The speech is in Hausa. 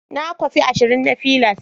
Na kwafi ashirin na fliers.